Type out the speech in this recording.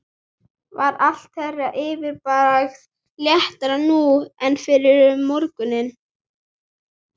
Var allt þeirra yfirbragð léttara nú en fyrr um morguninn.